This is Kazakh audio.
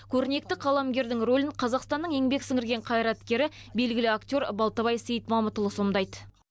көрнекті қаламгердің рөлін қазақстанның еңбек сіңірген қайраткері белгілі актер балтабай сейітмамытұлы сомдайды